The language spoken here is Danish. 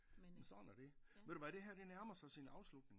Men sådan er det ved du hvad det her det nærmer sig sin afslutning